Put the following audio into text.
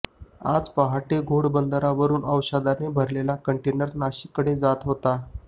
आज पहाटे घोडबंदरवरून औषधाने भरलेला कंटनेर नाशिककडे जात होता